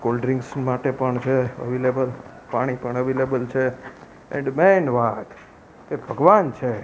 Cold drinks માટે પણ છે અવેલેબલ પાણી પણ અવેલેબલ છે એન્ડ મૈન વાત એ ભગવાન છે.